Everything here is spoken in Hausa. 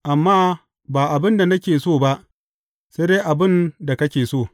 Amma ba abin da nake so ba, sai dai abin da kake so.